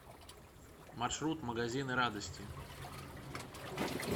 маршрут магазины радости